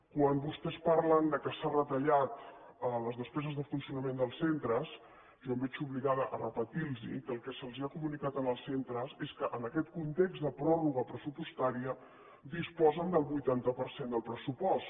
quan vostès parlen que s’han retallat les despeses de funcionament dels centres jo em veig obligada a repetir los que el que se’ls ha comunicat als centres és que en aquest context de pròrroga pressupostària disposen del vuitanta per cent del pressupost